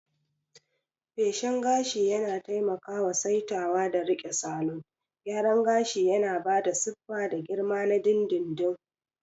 Feshin gashi yana taimakawa saitawa da riƙe salon gyara gashi, yana ba da siffa da girma na dindindin.